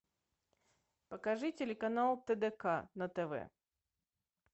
покажи телеканал тдк на тв